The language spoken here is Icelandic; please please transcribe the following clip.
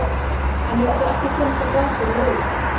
Hann hefur þó ekki komist á blað fyrir liðið.